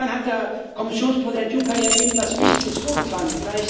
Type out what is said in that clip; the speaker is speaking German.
Und insofern hat der Kommissionspräsident Juncker ja eben etwas Wichtiges vorgetragen.